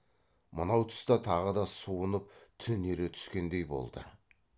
мынау тұста тағы да суынып түнере түскендей болды